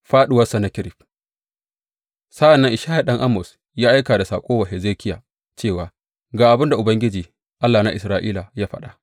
Fāɗuwar Sennakerib Sa’an nan Ishaya ɗan Amoz ya aika da saƙo wa Hezekiya cewa, Ga abin da Ubangiji, Allah na Isra’ila, ya faɗa.